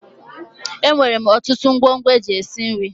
E nwere ọtụtụ ngwongwo e ji esi nri.